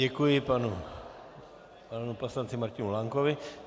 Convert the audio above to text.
Děkuji panu poslanci Martinu Lankovi.